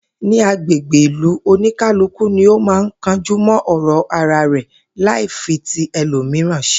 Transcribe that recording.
Ní agbègbè ìlú, oníkálùkù ni ó máa ń kanjú mó̩ ò̩rò̩ ara rè̩ láì fi ti e̩lòmìíràn s̩e